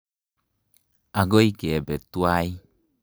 Akoi kepe twai.